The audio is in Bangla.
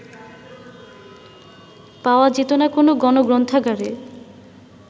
পাওয়া যেত না কোনো গণগ্রন্থাগারে